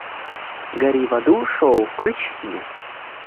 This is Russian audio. гори в аду шоу включи мне